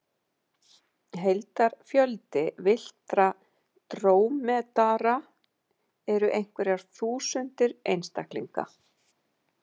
Heildarfjöldi villtra drómedara eru einhverjar þúsundir einstaklinga.